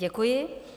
Děkuji.